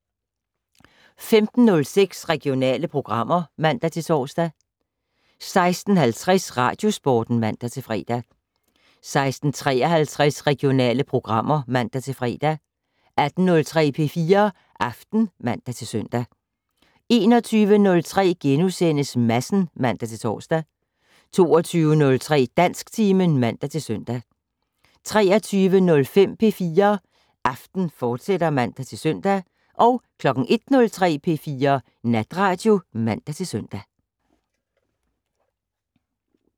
15:06: Regionale programmer (man-tor) 16:50: Radiosporten (man-fre) 16:53: Regionale programmer (man-fre) 18:03: P4 Aften (man-søn) 21:03: Madsen *(man-tor) 22:03: Dansktimen (man-søn) 23:05: P4 Aften, fortsat (man-søn) 01:03: P4 Natradio (man-søn)